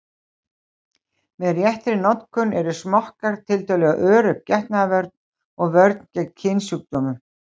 Með réttri notkun eru smokkar tiltölulega örugg getnaðarvörn og vörn gegn kynsjúkdómum.